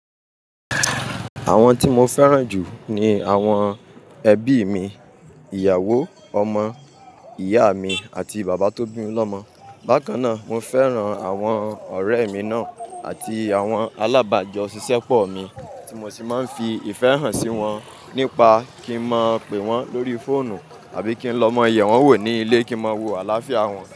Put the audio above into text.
Àwọn tí mo fẹ́ràn jù ni àwọn ẹbí mi: ìyàwó, ọmọ, ìyá mi, àti bàbá tó bí mi lọ́mọ. Bákan náà, mo fẹ́ràn àwọn ọ̀rẹ́ mi náà àti àwọn alábàjọ́ òṣìṣẹ́ pọ̀ mi tí mo sì máa ń fi ìfẹ́ hàn sí wọn nípa kí n máa ń pe wọ́n lórí fóònù àbí kí n lọ mọ iyè wọ́n wò ní ilé kí n máa wo àlàáfíà wọn.